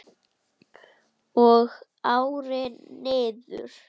Og árin liðu.